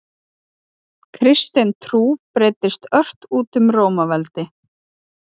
Kristin trú breiddist ört út um Rómaveldi.